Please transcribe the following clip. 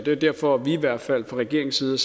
er derfor at vi i hvert fald fra regeringens side